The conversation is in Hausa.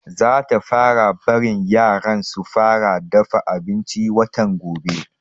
Zata fara barin yaran su fara dafa abinci watan gobe